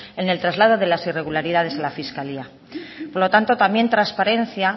en el traslado de las irregularidades a la fiscalía por lo tanto también transparencia